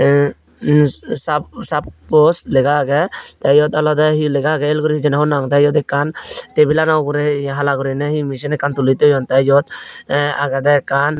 eh em sa sa suppose lega agey tey iyot olodey he lega agey el guri hijeni hobor nw pang tey iyot ekkan tebilano uguri hala guriney he machine ekkan tuli thoyun tey iyot ye agedey ekkan.